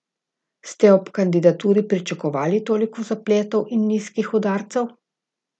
Ste ob kandidaturi pričakovali toliko zapletov in nizkih udarcev?